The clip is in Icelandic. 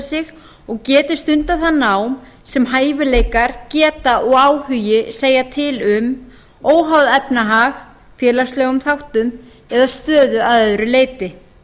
sig og geti stundað það nám sem hæfileikar geta og áhugi segja til um óháð efnahag félagslegum þáttum eða stöðu að öðru leyti